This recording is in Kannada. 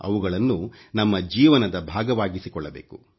ಅವುಗಳನ್ನು ನಮ್ಮ ಜೀವನದ ಭಾಗವಾಗಿಸಿಕೊಳ್ಳಬೇಕು